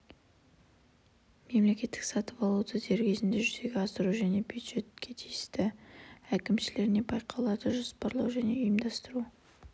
мемлекеттік сатып алуды дер кезінде жүзеге асыру және бюджет қаражаттарын тиімді пайдалану мақсатында бюджеттік бағдарламалардың тиісті әкімшілеріне байқауларды жоспарлау мен ұйымдастыру